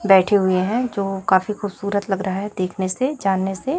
बैठे हुए हैं जो काफी खूबसूरत लग रहा है देखने से जाने से।